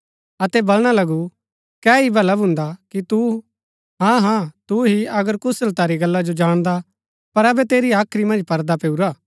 अतै वलणा लगु कै ही भला भुन्दा कि तु हाँ हाँ तु ही अगर कुशलता री गल्ला जो जाणदा पर अबै तेरी हाख्री मन्ज पर्दा पैऊरा